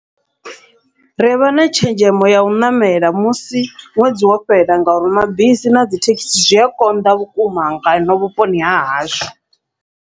Rivha na tshenzhemo yau ṋamela musi ṅwedzi wo fhela, ngauri mabisi na dzithekhisi zwia konḓa vhukuma ngano vhuponi hahashu.